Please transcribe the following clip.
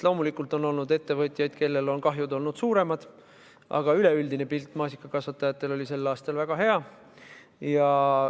Loomulikult on ettevõtjaid, kellel on kahjud olnud suuremad, aga üleüldine pilt oli maasikakasvatajatel sel aastal väga hea.